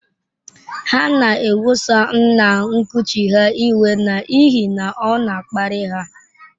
Ha na-eweso nna nkuchi ha iwe n’ihi na ọ na-akparị ha.